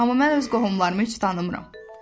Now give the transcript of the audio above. Amma mən öz qohumlarımı heç tanımıram.